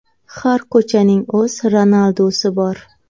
Har ko‘chaning o‘z Ronaldusi bor!